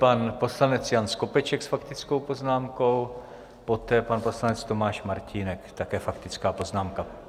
Pan poslanec Jan Skopeček s faktickou poznámkou, poté pan poslanec Tomáš Martínek, také faktická poznámka.